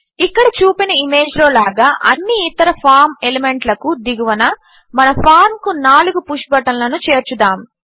ఇక్కడ చూపిన ఇమేజ్లో లాగా అన్ని ఇతర ఫార్మ్ ఎలిమెంట్లకు దిగువన మన ఫార్మ్ కు నాలుగు పుష్ బటన్లను చేర్చుదాము